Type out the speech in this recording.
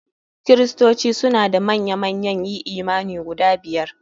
Kristoci suna da manya manyan yi imani guda biyar.